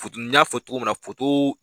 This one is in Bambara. n y'a fɔ cogo min na